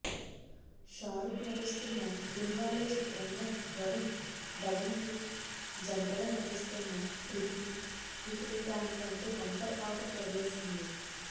షారుక్ నటిస్తున్న దిల్వాలే చిత్రంలో వరుణ్ ధవన్కి జంటగా నటిస్తోన్న కృతికి ఇప్పుడు దాని కంటే బంపర్ ఆఫర్ తగిలేసింది